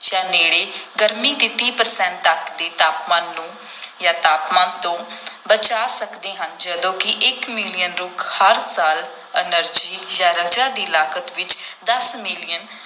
ਜਾਂ ਨੇੜੇ ਗਰਮੀ ਦੇ ਤੀਹ percent ਤੱਕ ਦੇ ਤਾਪਮਾਨ ਨੂੰ ਜਾਂ ਤਾਪਮਾਨ ਤੋਂ ਬਚਾ ਸਕਦੇ ਹਨ ਜਦੋਂ ਕਿ ਇੱਕ ਮਿਲੀਅਨ ਰੁੱਖ ਹਰ ਸਾਲ energy ਜਾਂ ਰਜਾ ਦੀ ਲਾਗਤ ਵਿੱਚ ਦਸ ਮਿਲੀਅਨ